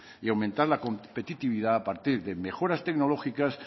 y aumentar la competitividad a partir de mejoras tecnológicas